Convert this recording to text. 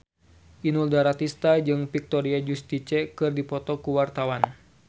Inul Daratista jeung Victoria Justice keur dipoto ku wartawan